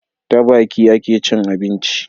Ta Baki akecin abinci